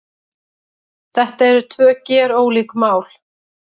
Þetta eru tvö gerólík mál